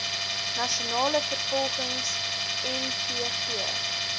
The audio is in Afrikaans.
nasionale vervolgingsgesag nvg